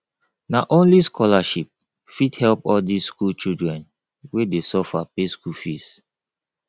na only scholarship fit help all dis skool children wey dey suffer pay school fees